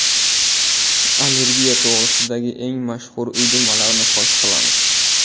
Allergiya to‘g‘risidagi eng mashhur uydirmalarni fosh qilamiz.